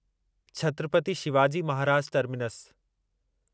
Chhatrapati Shivaji Maharaj terminus